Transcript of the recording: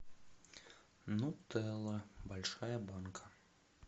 нутелла большая банка